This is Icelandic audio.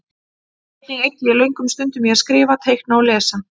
Einnig eyddi ég löngum stundum í að skrifa, teikna og lesa.